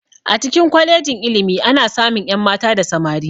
A cikin kwalejin ilimi ana samun ƴan mata da samari